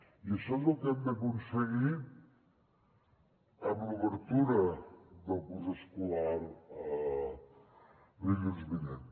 i això és el que hem d’aconseguir amb l’obertura del curs escolar dilluns vinent